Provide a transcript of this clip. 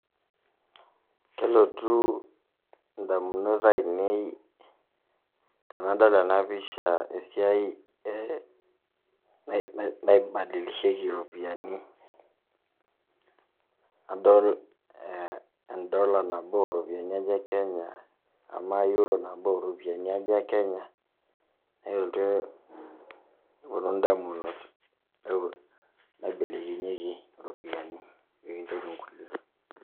Kelotu ndamunot ainei tenadol ena pisha esiai naibadilisheki iropiani, adol ndollar nabo o ropiani aja e kenya ama euro nabo ropiani aja e kenya, neeku eeltu eponu ndamunot naibelekenyeki iropiani pee kinjori nkulie.